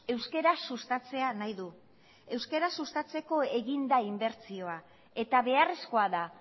euskara sustatzea nahi du euskara sustatzeko egin da inbertsioa eta beharrezkoa da